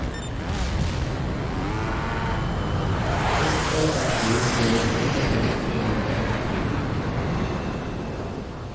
ett åtta två två nittiofem trehundratrettiotre